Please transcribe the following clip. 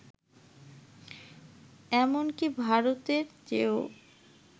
এমনকি ভারতের চেয়েও